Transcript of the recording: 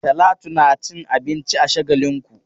Talatu na cin abinci a Shagalinku.